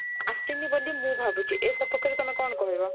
ଆସିନି ବୋଲି ମୁଁ ଭାବୁଛି ଅ ସପକ୍ଷରେ ତମେ କଣ କହିବ